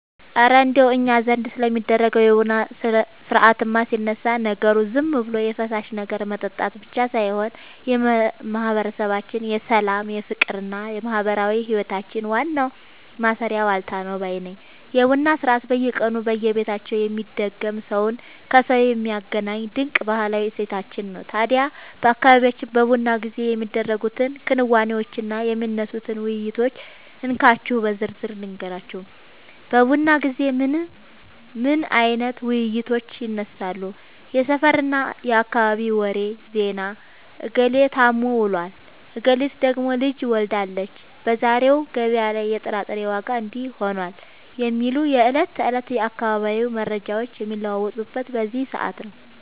እረ እንደው እኛ ዘንድ ስለሚደረገው የቡና ሥርዓትማ ሲነሳ፣ ነገሩ ዝም ብሎ የፈሳሽ ነገር መጠጣት ብቻ ሳይሆን የማህበረሰባችን የሰላም፣ የፍቅርና የማህበራዊ ህይወታችን ዋናው ማሰሪያ ዋልታ ነው ባይ ነኝ! የቡና ሥርዓት በየቀኑ በየቤታችን የሚደገም፣ ሰውን ከሰው የሚያገናኝ ድንቅ ባህላዊ እሴታችን ነው። ታዲያ በአካባቢያችን በቡና ጊዜ የሚደረጉትን ክንዋኔዎችና የሚነሱትን ውይይቶች እንካችሁ በዝርዝር ልንገራችሁ፦ በቡና ጊዜ ምን አይነት ውይይቶች ይነሳሉ? የሰፈርና የአካባቢ ወሬ (ዜና)፦ "እገሌ ታሞ ውሏል፣ እገሊት ደግሞ ልጅ ወልዳለች፣ በዛሬው ገበያ ላይ የጥራጥሬ ዋጋ እንዲህ ሆኗል" የሚሉ የዕለት ተዕለት የአካባቢው መረጃዎች የሚለዋወጡት በዚህ ሰዓት ነው።